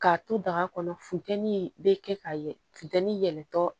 K'a to daga kɔnɔ funtɛni be kɛ ka yɛlɛ funtɛni yɛlɛtɔ